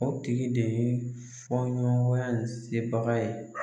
O tigi de ye fɔɲɔgɔnkɔya in sebaga ye.